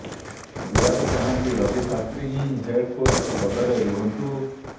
ବିରାଟ ଚାହାଁନ୍ତି ରବି ଶାସ୍ତ୍ରୀ ହିଁ head coach ପଦରେ ରୁହନ୍ତୁ